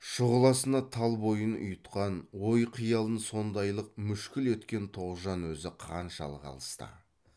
шұғыласына тал бойын ұйытқан ой қиялын сондайлық мүшкіл еткен тоғжан өзі қаншалық алыста